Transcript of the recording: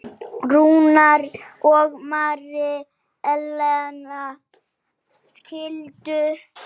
Rúnar og Mary Ellen skildu.